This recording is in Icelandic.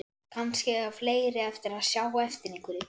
Kannski eiga fleiri eftir að sjá eftir einhverju.